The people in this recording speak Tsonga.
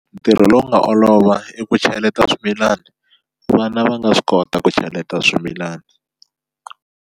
Ntirho lowu nga olova i ku cheleta swimilana vana va nga swi kota ku cheleta swimilana.